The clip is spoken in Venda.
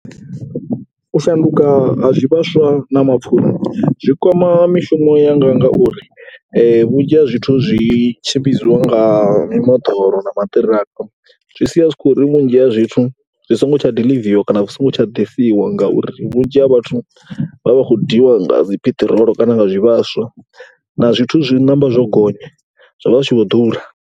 U shanduka ha zwivhaswa na mapfhura zwi kwama mishumo yanga ngauri vhunzhi ha zwithu zwi tshimbidzwa nga mimoḓoro na maṱiraka. Zwi sia zwi vhunzhi ya zwithu, zwi songo tsha diḽiviwa kana zwi songo tsha ḓisiwa ngauri vhunzhi ha vhathu vha vha vha khou diiwa nga dzi peṱirolo kana nga zwivhaswa na zwithu zwi namba zwo gonya zwi tshi vho ḓura.